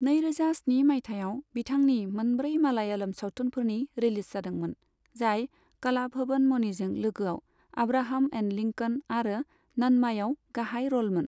नैरोजा स्नि माइथायाव बिथांनि मोनब्रै मालयालम सावथुनफोर रिलिज जादोंमोन, जाय कलाभवन मणिजों लोगोआव आब्राहाम एण्ड लिंकन आरो नन्मायाव गाहाय र'लमोन।